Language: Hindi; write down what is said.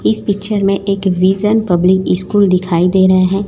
इस पिक्चर में एक विजन पब्लिक स्कूल दिखाई दे रहा है।